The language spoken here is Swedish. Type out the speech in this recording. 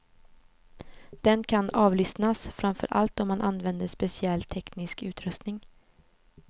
Den kan avlyssnas, framför allt om man använder speciell teknisk utrustning.